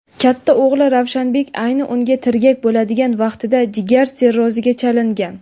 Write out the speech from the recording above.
Katta o‘g‘li Ravshanbek ayni unga tirgak bo‘ladigan vaqtida jigar sirroziga chalingan.